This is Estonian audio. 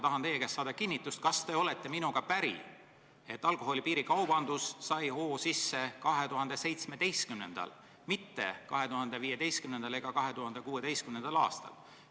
Tahan teie käest saada kinnitust, kas te olete minuga päri, et alkoholi piirikaubandus sai hoo sisse 2017., mitte 2015. ega 2016. aastal?